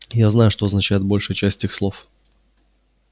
я знаю что означает большая часть этих слов